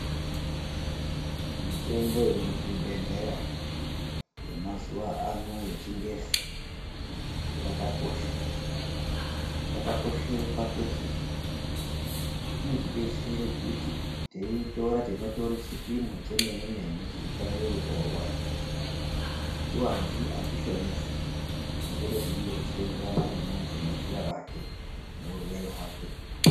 Mitombo yemuzvibhedhlera yemazuvaano yechingezi yakakosha yakakoshera pakuti inotidetsera kuti teiitora tinotora chipimo chemene mene chinofanirwa kutorwa hatiwanzi hatishomesi tinotora zvinoenderana nezera remuntu neurwere hwake.